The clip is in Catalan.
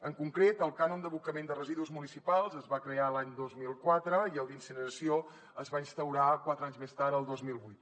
en concret el cànon d’abocament de residus municipals es va crear l’any dos mil quatre i el d’incineració es va instaurar quatre anys més tard el dos mil vuit